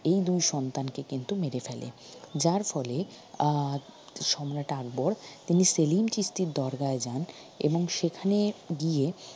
এই দুই সন্তানকে কিন্তু মেরে ফেলে যার ফলে আহ সম্রাট আকবর তিনি সেলিম চিশতির দরগায় যান এবং সেখানে গিয়ে